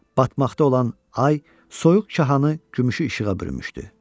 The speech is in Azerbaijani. Batmaqda olan ay soyuq çahanı gümüşü işığa bürümüşdü.